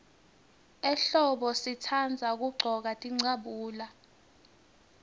ehlombo sitandza kuggcoka tincabule